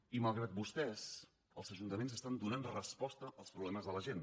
i malgrat vostès els ajuntaments estan donant resposta als problemes de la gent